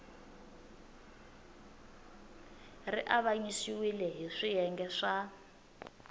ri avanyisiwile hi swiyenge swa